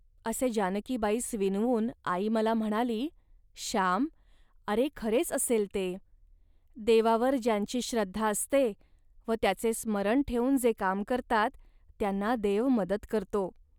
असे जानकीबाईस विनवून आई मला म्हणाली, "श्याम, अरे, खरेच असेल ते. देवावर ज्यांची श्रद्धा असते व त्याचे स्मरण ठेवून जे काम करतात, त्यांना देव मदत करतो